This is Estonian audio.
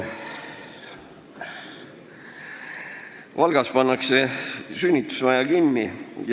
Valgas pannakse sünnitusmaja kinni.